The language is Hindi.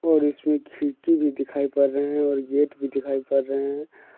और इसमें खिड़की भी दिखाई पड़ रहे हैं और गेट भी दिखाई पड़ रहे हैं।